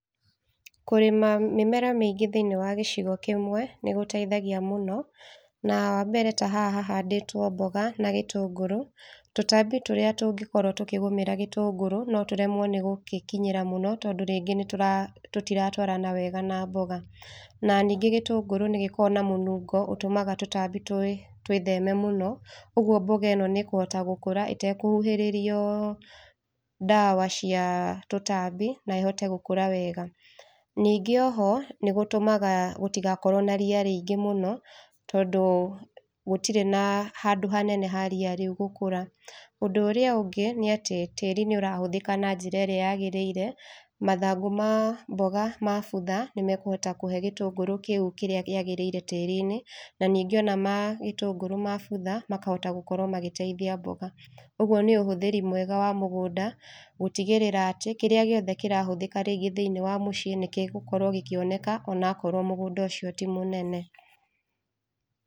Kũrĩma mĩmera mĩingĩ thĩiniĩ wa gĩcigo kĩmwe nĩ gũteithagia mũno, na wa mbere ta haha hahandĩtwo mbũga na gĩtũngũrũ, tũtambi tũrĩa tũngĩkorwo tũkĩgũmĩra gĩtũngũrũ no tũremwo nĩgũgĩkinyĩra mũno tondũ rĩngĩ nĩtũra, tũtiratwarana wega na mboga. Na ningĩ gĩtũngũrũ nĩgĩkoragwo na mũnungo ũtũmaga tũtambi twĩ, twĩtheme mũno, ũguo mboga ĩno nĩ ĩkũhota gũkũra ĩtekũhuhĩrĩrio ndawa cia tũtambi na ĩhote gũkũra wega. Ningĩ oho, nĩ gũtũmaga gũtigakorwo na ria rĩingĩ mũno, tondũ gũtirĩ na handũ hanene ha ria rĩu gũkũra. Ũndũ ũrĩa ũngĩ nĩ atĩ tĩĩri nĩ ũrahũthĩka na njirerĩa yagĩrĩire mathangũ ma mboga mabutha, nĩ mekũhota kũhe gĩtũngũrũ kĩu kĩrĩa kĩagĩrĩire tĩĩri-inĩ, na ningĩ ona ma gĩtũngũrũ mabutha makahota gũkorwo magĩteithia mboga. Ũguo nĩ ũhũthĩri mwega wa mũgũnda gũtigĩrĩra atĩ kĩrĩa gĩothe kĩrahũthĩka rĩngĩ thĩiniĩ wa mũciĩ nĩkĩgũkorwo gĩkĩoneka onakorwo mũgũnda ũcio ti mũnene.